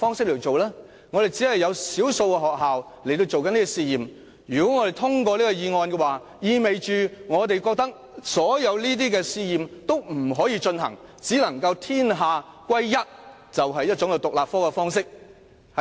雖然只有少數學校正在進行試驗，但如果我們通過這項議案，意味着我們覺得所有試驗均不能進行，只能採用一種獨立科的方式。